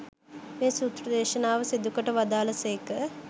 මේ සූත්‍ර දේශනාව සිදුකොට වදාළ සේක.